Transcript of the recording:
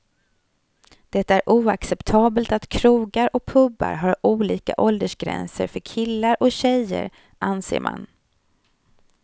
Det är oacceptabelt att krogar och pubar har olika åldersgränser för killar och tjejer, anser man.